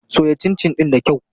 Soya cincin ɗin da kyau.